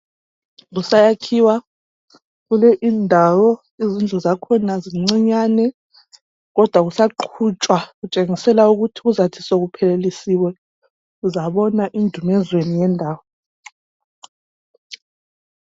Kusayakhiwa kule indawo izindlu zakhona zincinyane kodwa kusaqhutshwa kutshengisela ukuthi kuzathi sokuphelelisiwe uzabona indumezweni yendawo.